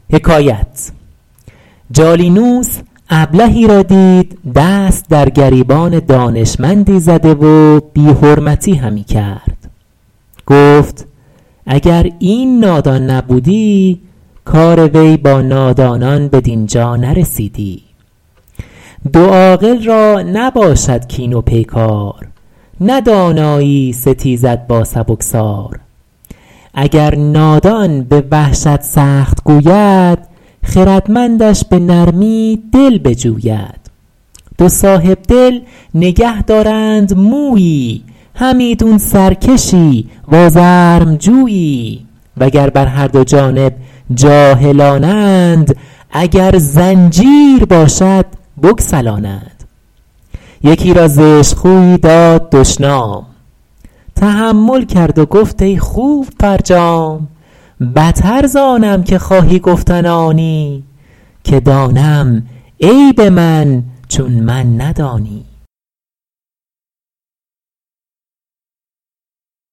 جالینوس ابلهی را دید دست در گریبان دانشمندی زده و بی حرمتی همی کرد گفت اگر این نادان نبودی کار وی با نادانان بدین جا نرسیدی دو عاقل را نباشد کین و پیکار نه دانایی ستیزد با سبکسار اگر نادان به وحشت سخت گوید خردمندش به نرمی دل بجوید دو صاحبدل نگه دارند مویی همیدون سرکشی و آزرم جویی و گر بر هر دو جانب جاهلانند اگر زنجیر باشد بگسلانند یکی را زشت خویی داد دشنام تحمل کرد و گفت ای خوب فرجام بتر زآنم که خواهی گفتن آنی که دانم عیب من چون من ندانی